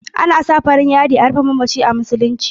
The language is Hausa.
Ana sa farin yadi a rufe mamaci a musuluci.